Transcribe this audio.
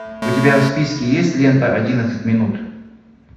у тебя в списке есть лента одиннадцать минут